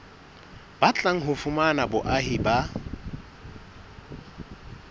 batlang ho fumana boahi ba